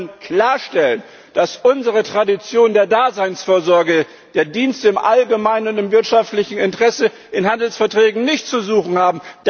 Wir wollen klarstellen, dass unsere Tradition der Daseinsvorsorge der Dienst im allgemeinen, im wirtschaftlichen Interesse in Handelsverträgen nichts zu suchen hat.